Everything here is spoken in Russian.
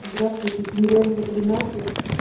здравствуйте тимирязева тринадцать